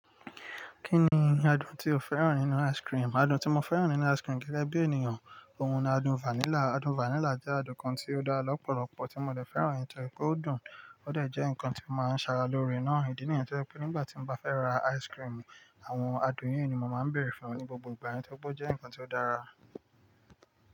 Kí ni adùn tí o fẹ́ràn nínú ice cream? Adùn tí mo fẹ́ràn nínú ice cream gẹ́gẹ́bí ènìyàn, òun ni adùn vanilla. Adùn vanilla jẹ́ adùn kan tí ó dára lọ́pọ̀lọpọ̀ tí mo lè fẹ́ràn. Nítorí pé ó dùn, ó dà jẹ́ ǹkan tí mo máa ń ṣe ara lórí náà. Ìdí nìyẹn ni pé nígbà tí mo bá fẹ́ ra ice cream, àwọn adùn yí ni mo máa ń bèèrè fún ní gbogbo ìgbà. Nítorí pé ó jẹ́ ǹkan tí ó dára.